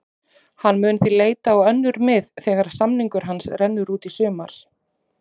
Hann mun því leita á önnur mið þegar samningur hans rennur út í sumar.